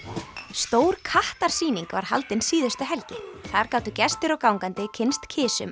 stór kattarsýning var haldin síðustu helgi þar gátu gestir og gangandi kynnst